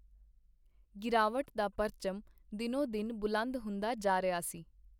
ਗਿਰਾਵਟ ਦਾ ਪਰਚਮ ਦਿਨੋ-ਦਿਨ ਬੁਲੰਦ ਹੁੰਦਾ ਜਾ ਰਿਹਾ ਸੀ.